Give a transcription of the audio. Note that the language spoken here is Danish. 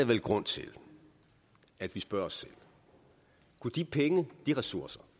vel grund til at vi spørger os selv kunne de penge de ressourcer